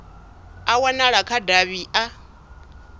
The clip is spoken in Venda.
a wanala kha davhi a